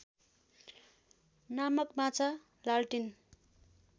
नामक माछा लालटिन